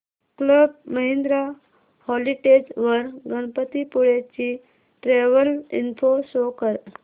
club Mahindra holidays वर गणपतीपुळे ची travel info show कर